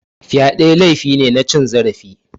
Fyade laifi ne na cin zarafi.